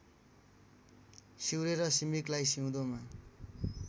सिउरेर सिम्रिकलाई सिउँदोमा